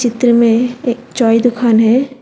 चित्र में एक चाय दुकान है।